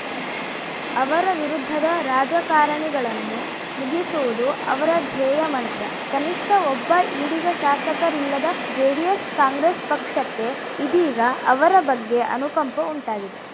ಅವರ ವಿರುದ್ಧದ ರಾಜಕಾರಣಿಗಳನ್ನು ಮುಗಿಸುವುದು ಅವರ ಧ್ಯೇಯ ಮಂತ್ರ ಕನಿಷ್ಠ ಒಬ್ಬ ಈಡಿಗ ಶಾಸಕರಿಲ್ಲದ ಜೆಡಿಎಸ್‌ ಕಾಂಗ್ರೆಸ್‌ ಪಕ್ಷಕ್ಕೆ ಇದೀಗ ಅವರ ಬಗ್ಗೆ ಅನುಕಂಪ ಉಂಟಾಗಿದೆ